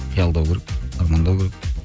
қиялдау керек армандау керек